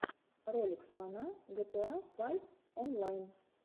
ролик слона гта файв онлайн